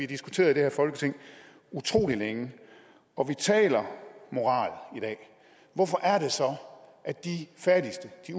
diskuteret i det her folketing utrolig længe og vi taler moral i dag hvorfor er det så at de fattigste de